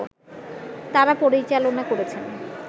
তারা পরিচালনা করেছেন